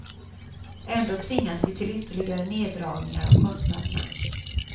Ändå tvingas vi till ytterligare neddragningar av kostnaderna.